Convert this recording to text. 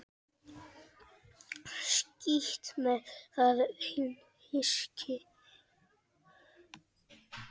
Skítt með það hyski.